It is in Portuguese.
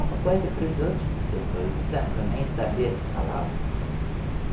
coisa para os outros que se atuavam, dizendo que eu nem sabia se falava.